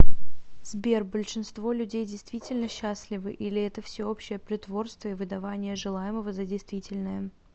сбер большинство людей действительно счастливы или это всеобщее притворство и выдавание желаемого за действительное